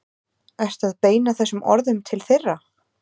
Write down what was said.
Ertu að beina þessum orðum til þeirra?